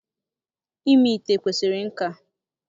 Ime ite kwesịrị nka